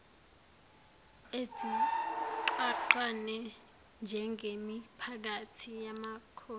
ezigqagqene njengemiphakathi yamakhosi